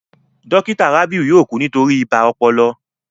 Dókítà Rabiu yóò kú nítorí ibà ọpọlọ